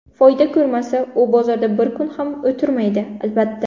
Foyda ko‘rmasa, u bozorda bir kun ham o‘tirmaydi, albatta.